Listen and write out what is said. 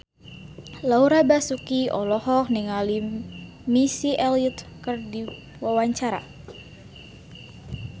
Laura Basuki olohok ningali Missy Elliott keur diwawancara